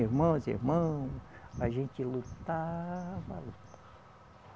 Irmãs e irmão, a gente lutava